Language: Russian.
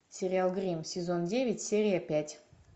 сериал гримм сезон девять серия пять